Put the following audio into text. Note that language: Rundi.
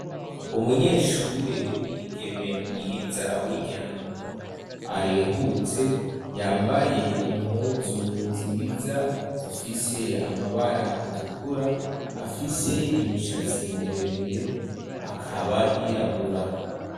Umunyeshure w'umwigeme mwiza w'inyambo arehutse yambaye impuzu nziza zifise amabara atukura afise imishatsi mire mire akaba yirabura.